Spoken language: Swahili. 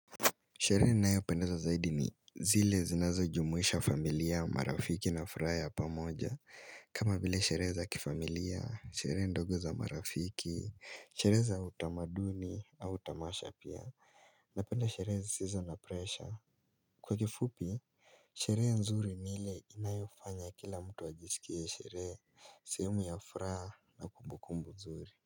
Sherehe inayopendeza zaidi ni zile zinazo jumuisha familia marafiki na furaha ya pamoja kama vile sherehe za kifamilia sherehe ndogo za marafiki Sherehe za utamaduni au tamasha pia napenda sherehe zisizo na pressure Kwa kifupi sherehe nzuri ni ile inayofanya kila mtu ajisikie sherehe sehemu ya furaha na kumbukumbu nzuri.